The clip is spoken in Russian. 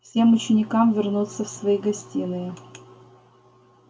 всем ученикам вернуться в свои гостиные